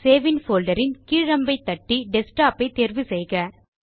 save in folder இல் கீழ் அம்பை தட்டி டெஸ்க்டாப் ஐ தேர்வு செய்க